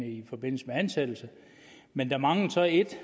i forbindelse med ansættelse men der manglede så et